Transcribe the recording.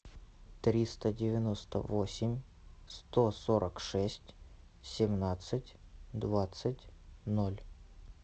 триста девяносто восемь сто сорок шесть семнадцать двадцать ноль